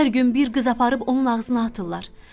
Hər gün bir qız aparıb onun ağzına atırlar.